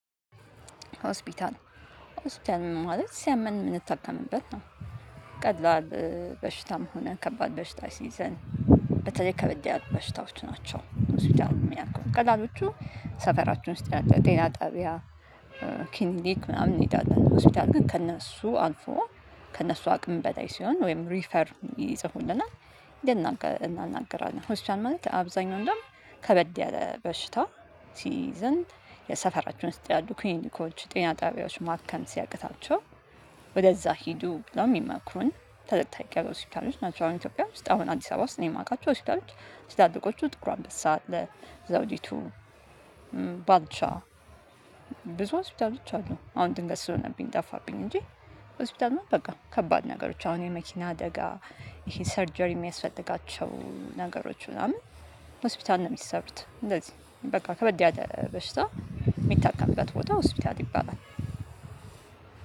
ሆስፒታል ሆስፒታል ማለት ሲያመን የምንታከምበት ነው። ቀላል በሽታም ሆነ ከባድ በሽታ ሲይዘን። በተለይ ከበደ ያሉ በሽታዎች ናቸው ሆስፒታል የሚያውቁት ቀላሎቹ ሰፈራቸን ውስጥ ያለ ጤና ጣቢያ። ክሊኒክ ምናምን እንሄዳለን ሆስፒታል ግን ከእነሱ አልፎ ከእነሱ አቅም በላይ ሲሆን ወይም ሪፈር ይጽፉልናል። ሂደን እናናገራለን ሆስፒታል ማለት አብዛኛው እንደውም ከበድ ያለ በሽታ። ሲዘን የሰፈራችሁን ውስጥ ያሉ ክሊኒኮች ጤና ጣቢያዎች ማከም ሲያቅታቸው ወደዛ ሂዱ ለሚመክሩን ተለቅ ተለቅ ያሉ ሆስፒታሎች ናቸው። አሁን ኢትዮጵያ ውስጥ አሁን አዲስ አበባ ውስጥ ነው የማውቃቸው ሆስፒታሎች። ትላልቆቹ ጥቁር አምበሳ አለ ዘውዲቱ ባልቻ ብዙ ሆስፒታሎች አሉ። አሁን ድንገት ስልሆንብኝ ጠፋብኝ እንጂ። ሆስፒታል ምን በቃ ከባድ ነገሮች አሁን የመኪና አደጋ ይሄ ሰርጀሪ የሚያስፈልጋቸው ነገሮች ምናምን። ሆስፒታል ነው የሚሰሩት እንደዚህ በቃ ከበድ ያለ በሽታ የሚታከምበት ቦታ ሆስፒታት ይባላል።